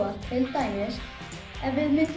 dæmis ef við